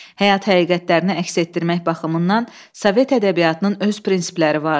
Həyat həqiqətlərini əks etdirmək baxımından Sovet ədəbiyyatının öz prinsipləri vardı.